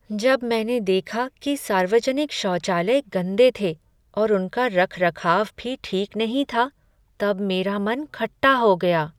जब मैंने देखा कि सार्वजनिक शौचालय गंदे थे और उनका रखरखाव भी ठीक नहीं था तब मेरा मन खट्टा हो गया।